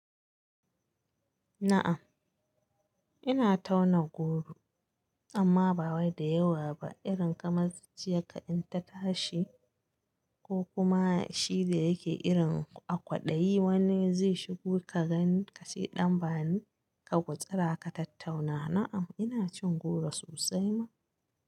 Na'am ina tauna goro amma ba wai da yawa ba irin kamar ciyaka in ta tashi ko kuma shi da yake irin a kwaɗayi wanda zai shigo ka gan ka ce ɗan bani ka gutsura ka tattauna. Na'am ina cin goro sosai ma.